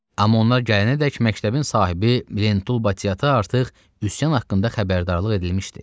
Amma onlar gələnədək məktəbin sahibi Lentul Batı artıq üsyan haqqında xəbərdarlıq edilmişdi.